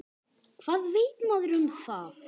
Hvað veit maður um það?